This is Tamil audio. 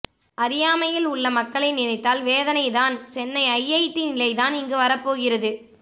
அறியாமையில் உள்ள மக்களை நினைத்தால் வேதனை தான் சென்னை ஐஐடி நிலைதான் இங்கு வரப்போகிறது